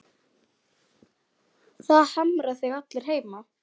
Það harma þig allir heima.